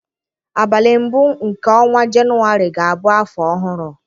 Abalị mbụ nke ọnwa Jenụwarị ga-abụ afọ ọhụrụ.